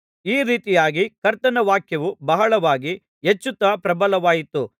ಈ ರೀತಿಯಾಗಿ ಕರ್ತನ ವಾಕ್ಯವು ಬಹಳವಾಗಿ ಹೆಚ್ಚುತ್ತಾ ಪ್ರಬಲವಾಯಿತು